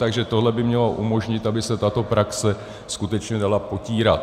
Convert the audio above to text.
Takže tohle by mělo umožnit, aby se tato praxe skutečně dala potírat.